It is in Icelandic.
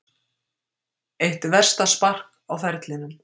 Eitt versta spark á ferlinum